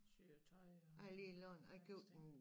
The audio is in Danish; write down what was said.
Syer tøj og en masse ting